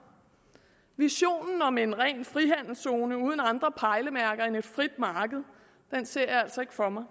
visionen om en ren frihandelszone uden andre pejlemærker end et frit marked ser jeg altså ikke for mig